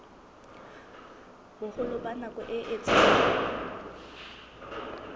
boholo ba nako e etsang